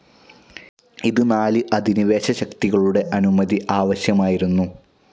ഇത് നാല് അധിനിവേശ ശക്തികളുടെ അനുമതി ആവശ്യമായിരുന്നു.